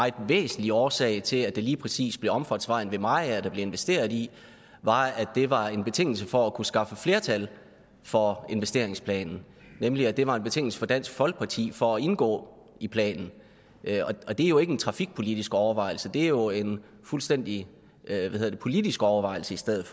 væsentlig årsag til at det lige præcis bliver omfartsvejen ved mariager der bliver investeret i var at det var en betingelse for at kunne skaffe flertal for investeringsplanen nemlig at det var en betingelse for dansk folkeparti for at indgå i planen og det er jo ikke en trafikpolitisk overvejelse det er jo en fuldstændig politisk overvejelse i stedet